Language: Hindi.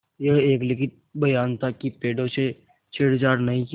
यह एक लिखित बयान था कि पेड़ों से छेड़छाड़ नहीं की